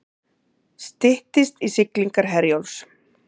Styttist í siglingar Herjólfs